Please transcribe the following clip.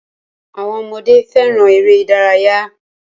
Awọn ọmọdé féràn èrè ìdárayá.